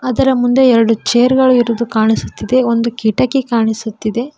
ಇದರ ಮುಂದೆ ಎರಡು ಚೇರ್ ಗಳು ಇರುವುದು ಕಾಣಿಸುತ್ತಿದೆ ಒಂದು ಕಿಟಕಿ ಕಾಣಿಸುತ್ತಿದೆ.